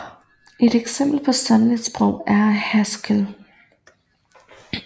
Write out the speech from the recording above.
Et eksempel på et sådan sprog er Haskell